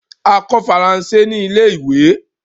A kọ Faransé ni ilẹ̀-ìwé